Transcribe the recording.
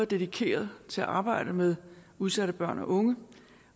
dedikeret til arbejdet med udsatte børn og unge